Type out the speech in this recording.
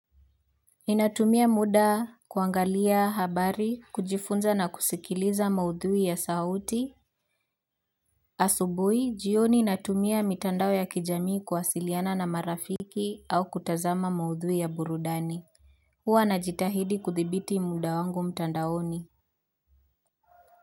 Ninatumia muda kuangalia habari kujifunza na kusikiliza maudhui ya sauti asubuhi jioni natumia mitandao ya kijamii kuwasiliana na marafiki au kutazama maudhui ya burudani huwa najitahidi kuthibiti muda wangu mtandaoni.